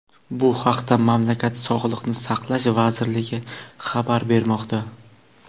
Bu haqda mamlakat Sog‘liqni saqlash vazirligi xabar bermoqda.